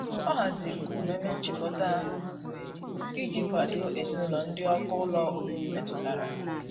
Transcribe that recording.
ọ hazịrị umeme nchikota uwe iji kwado ezinulo ndi ọkụ ụlọ ọbibi metụtara.